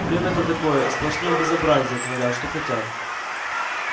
время-то такое сплошные безобразия творят что хотят